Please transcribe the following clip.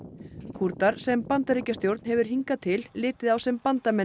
Kúrdar sem Bandaríkjastjórn hefur hingað til litið á sem bandarmenn